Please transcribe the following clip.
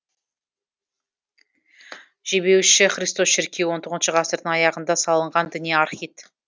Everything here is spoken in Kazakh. жебеуші христос шіркеуі он тоғызыншы ғасырдың аяғында салынған діни архит